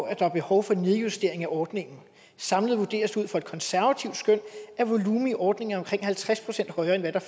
at der er behov for en nedjustering af ordningen samlet vurderes det ud fra et konservativt skøn at volumen i ordningen er halvtreds procent højere end hvad der